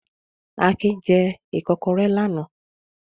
Akin jẹ ìkọ́kọrẹ́ lánàá.